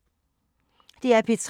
DR P3